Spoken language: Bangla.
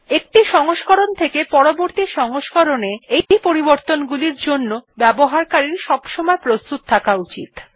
একটি সংস্করণ থেকে পরবর্তী সংস্করণ এ এই পরিবর্তন গুলির জন্য ব্যবহারকারীর প্রস্তুত থাকা আবশ্যক